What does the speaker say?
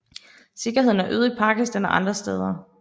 Sikkerheden er øget i Pakistan og andre steder